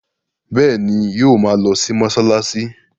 Bẹ́ẹ̀ ni, yóò ma lọ mọ́ṣáláṣí.